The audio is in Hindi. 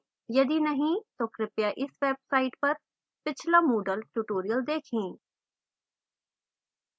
यदि नहीं तो कृपया इस website पर पिछला moodle tutorials देखें